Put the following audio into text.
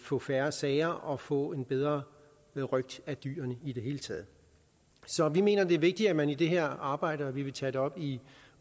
få færre sager og få en bedre røgt af dyrene i det hele taget så vi mener det er vigtigt at man i det her arbejde og vi vil tage det op i